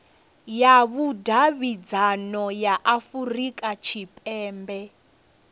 ya vhudavhidzano ya afurika tshipembe